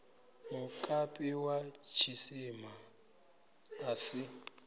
mukapi wa tshisima a si